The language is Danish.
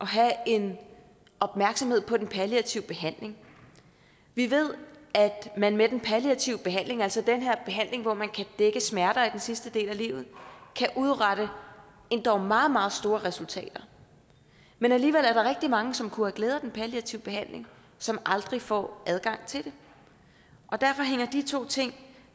have en opmærksomhed på den palliative behandling vi ved at man med den palliative behandling altså den her behandling hvor man kan dække smerter i den sidste del af livet kan udrette endog meget meget store resultater men alligevel er der rigtig mange som kunne have glæde af den palliative behandling som aldrig får adgang til den derfor hænger de to ting